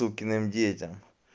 иркиным детям